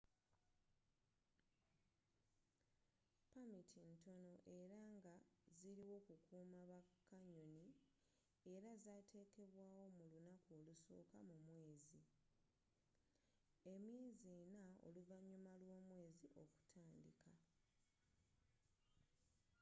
pamiti ntono era nga ziliwo kukuuma ba kanyoni era ngazatekebwawo mu lunaku olusooka mu mwezi emyezi ena oluvanyuma lwomwezi okutandika